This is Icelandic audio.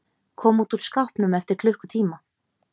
Kom út úr skápnum eftir klukkutíma